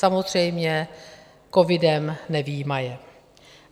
Samozřejmě covidem nevyjímaje.